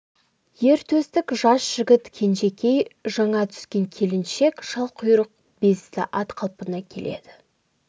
ер төстік жас жігіт кенжекей жаңа түскен келіншек шалқұйрық бесті ат қалпына келеді